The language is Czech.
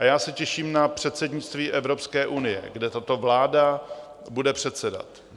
A já se těším na předsednictví Evropské unie, kde tato vláda bude předsedat.